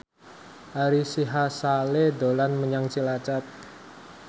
Ari Sihasale dolan menyang Cilacap